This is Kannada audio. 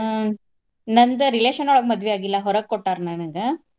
ಆಹ್ ನಂದ್ relation ಯೊಳಗ್ ಮದ್ವಿ ಆಗಿಲ್ಲಾ ಹೊರಗ್ ಕೊಟ್ಟಾರ ನನಗ.